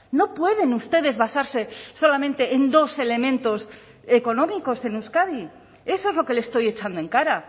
no pueden ustedes basarse solamente en dos elementos económicos en euskadi eso es lo que le estoy echando en cara